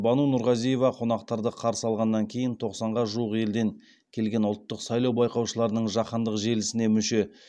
бану нұрғазиева қонақтарды қарсы алғаннан кейін тоқсанға жуық елден келген ұлттық сайлау байқаушыларының жаһандық желісіне мүше